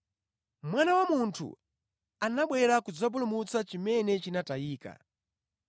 (Mwana wa Munthu anabwera kudzapulumutsa chimene chinatayika).